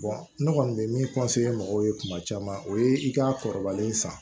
ne kɔni bɛ min mɔgɔw ye kuma caman o ye i ka kɔrɔbalen san